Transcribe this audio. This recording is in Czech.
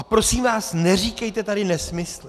A prosím vás, neříkejte tady nesmysly.